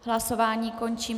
Hlasování končím.